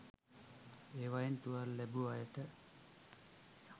ඒවයින් තුවාල ලැබූ අයට